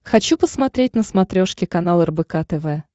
хочу посмотреть на смотрешке канал рбк тв